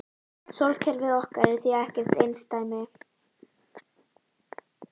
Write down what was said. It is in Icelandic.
Sólkerfið okkar er því ekkert einsdæmi.